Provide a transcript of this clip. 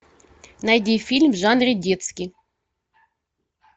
найди фильм в жанре детский